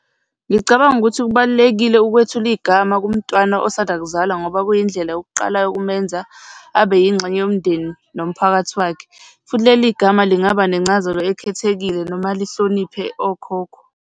Ngicabanga ukuthi kubalulekile ukwethula igama kumntwana osanda kuzalwa ngoba kuyindlela yokuqala ukumenza abe yingxenye yomndeni nomphakathi wakhe. Futhi leli gama lingaba nencazelo ekhethekile noma lihloniphe okhokho.